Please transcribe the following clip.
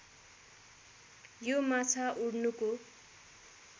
यो माछा उड्नुको